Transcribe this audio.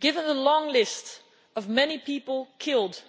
Given the long list of many people killed